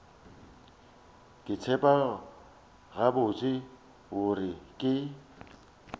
ke tseba gabotse gore ke